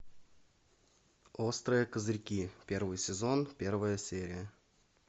острые козырьки первый сезон первая серия